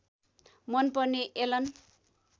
मन पर्ने एलन